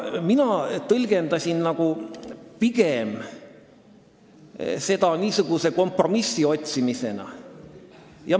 Mina tõlgendasin seda kompromissi otsimisena.